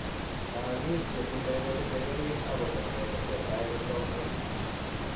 Laagik che tindo kosiche keriing' ak kobet kelek che tai kotomkoit.